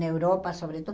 Na Europa, sobretudo.